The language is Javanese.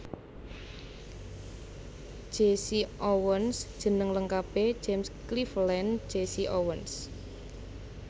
Jesse Owens jeneng lengkapé James Cleveland Jesse Owens